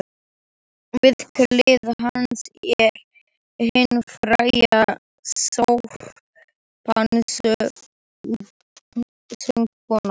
Við hlið hans er hin fræga sópransöngkona